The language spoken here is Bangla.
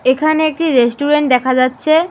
এখানে একটি রেস্টুরেন্ট দেখা যাচ্ছে।